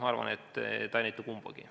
Ma arvan, et see ei näita kumbagi.